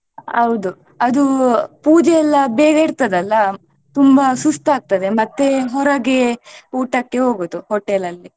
ಹೌದು ಅದು ಪೂಜೆ ಎಲ್ಲಾ ಬೇಗ ಇರ್ತದಲ್ಲ ತುಂಬಾ ಸುಸ್ತಾಗ್ತದೆ ಮತ್ತೆ ಹೊರಗೆ ಊಟಕ್ಕೆ ಹೋಗುವುದು hotel ಅಲ್ಲಿ.